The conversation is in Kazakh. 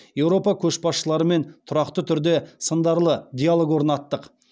еуропа көшбасшыларымен тұрақты түрде сындарлы диалог орнаттық